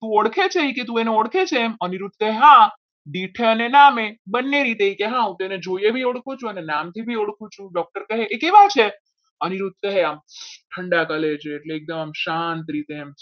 તુ ઓળખે છે તું ઓળખે છે એમ અનિરુદ્ધ કહે હા વિઠ્ઠલ નામે બંને રીતે એને જોઈએ બી ઓળખું છું અને નામથી ઓળખું છું doctor કહે એ કેવા છે આમ ઠંડા college એ એટલે એકદમ શાંત રીતે આમ